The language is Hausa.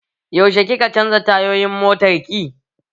Yaushe ki ka canza tayoyin motar ki?